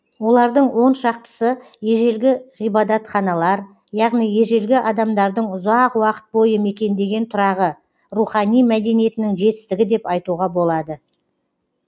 олардың оншақтысы ежелгі ғибадатханалар яғни ежелгі адамдардың ұзақ уақыт бойы мекендеген тұрағы рухани мәдениетінің жетістігі деп айтуға болады